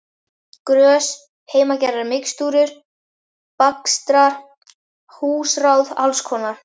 Grös, heimagerðar mixtúrur, bakstrar, húsráð alls konar.